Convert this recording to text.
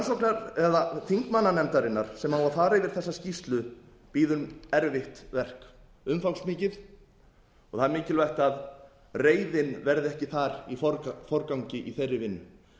á að fara yfir þessa skýrslu bíður erfitt verk umfangsmikið og það er mikilvæga að reiðin verði ekki þar í forgangi í þeirri vinnu